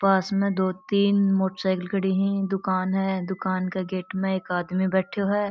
पास में दो तीन मोटरसाइकिल खड़ी है दुकान है दुकान के गेट में एक आदमी बैठो है।